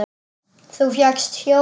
Þú fékkst hjólið!